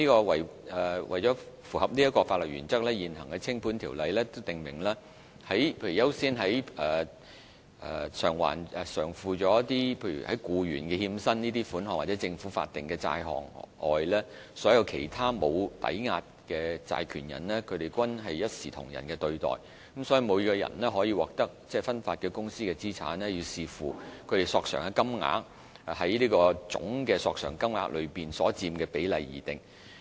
為符合此項法律原則，現行相關的清盤條例訂明，在優先償付僱員欠薪等款項或政府法定的債項外，所有其他無抵押債權人均須獲同等對待。所以，每個人可獲得分發的公司資產，需要視乎他們索償的金額在總索償金額中所佔比例而定。